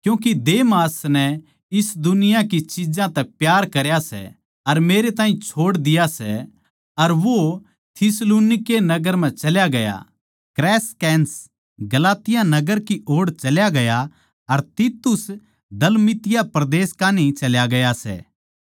क्यूँके देमास नै इस दुनिया की चिज्जां तै प्यार करया सै अर मेरै ताहीं छोड़ दिया सै अर वो थिस्सलुनीके नगर म्ह चल्या गया सै क्रेसकेंस गलातिया नगर की ओड़ चल्या गया अर तीतुस दलमतिया परदेस कान्ही चल्या गया सै